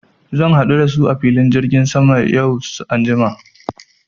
Zan haɗu da su a filin jirgin sama yau anjima.